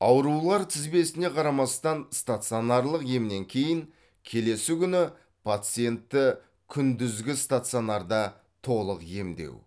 аурулар тізбесіне қарамастан стационарлық емнен кейін келесі күні пациентті күндізгі стационарда толық емдеу